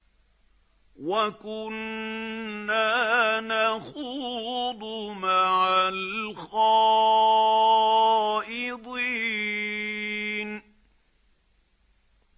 وَكُنَّا نَخُوضُ مَعَ الْخَائِضِينَ